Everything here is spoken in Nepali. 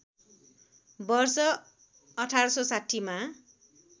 वर्ष १८६० मा